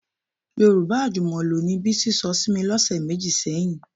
Yorùbá àjùmọ̀lò ni Bísí sọ sí mi lọ́sẹ̀ méjì sẹ́yìn